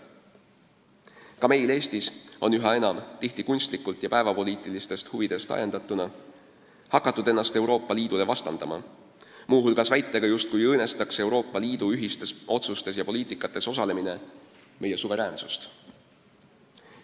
Ka meil Eestis on üha enam – tihti kunstlikult ja päevapoliitilistest huvidest ajendatuna – hakatud ennast Euroopa Liidule vastandama, muu hulgas väitega, justkui õõnestaks Euroopa Liidu ühistes otsustes ja poliitikas osalemine meie suveräänsust.